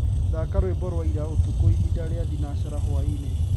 thaka rwĩmbo rwa ĩra ũtũkũ ĩhĩnda rĩa thĩnacara hwaĩnĩ